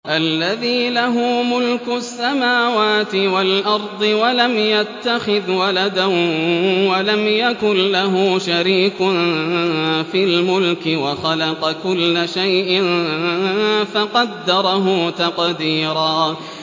الَّذِي لَهُ مُلْكُ السَّمَاوَاتِ وَالْأَرْضِ وَلَمْ يَتَّخِذْ وَلَدًا وَلَمْ يَكُن لَّهُ شَرِيكٌ فِي الْمُلْكِ وَخَلَقَ كُلَّ شَيْءٍ فَقَدَّرَهُ تَقْدِيرًا